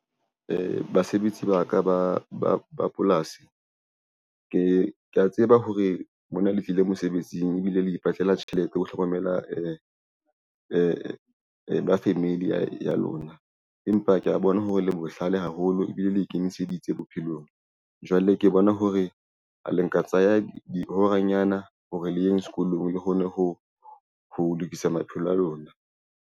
Basebetsi ba ka ba polasi, kea tseba hore mona letlile mosebetsing ebile le ipatlela tjhelete ho hlokomela ba family ya lona. Empa kea bona hore le bohlale haholo ebile le ikemiseditse bophelong jwale ke bona hore a le nka tsaya dihora nyana hore le yeng sekolong hore le kgone ho lokisa maphelo a lona.